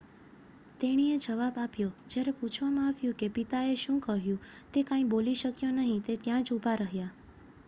"તેણીએ જવાબ આપ્યો જ્યારે પૂછવામાં આવ્યું કે પિતાએ શું કહ્યું "તે કાંઈ બોલી શક્યો નહીં - તે ત્યાં જ ઉભા રહ્યા.""